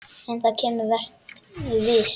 En það kemur, vertu viss.